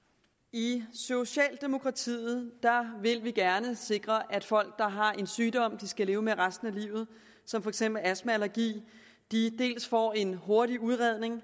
i socialdemokratiet vil vi gerne sikre at folk der har en sygdom de skal leve med resten af livet som for eksempel astma eller allergi dels får en hurtig udredning og